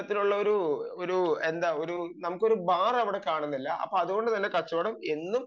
അങ്ങനെയുള്ള ഒരു ഒരു നമുക്ക് ബാർ അവിടെ കാണുന്നില്ല അതുകൊണ്ട് തന്നെ കച്ചവടം എന്നും